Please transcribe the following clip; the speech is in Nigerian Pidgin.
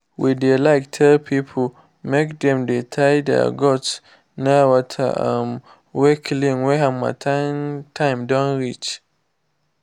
we dey like tell pipo make dem dey tie their goats near water um wey clean wen harmattan time don reach.